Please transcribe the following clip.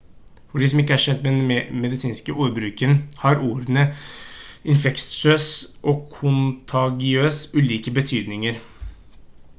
for de som ikke er kjent med den medisinske ordbruken har ordene infeksiøs og kontagiøs ulike betydninger